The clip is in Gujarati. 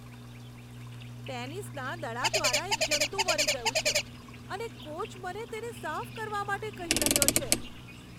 ટેનિસના દડા દ્વારા એક જંતુ મરી ગયું છે, અને કોચ મને તેને સાફ કરવા માટે કહી રહ્યો છે.